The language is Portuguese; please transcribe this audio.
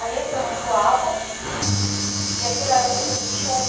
Ali se amontoavam e aquilo era o pedido de chuva.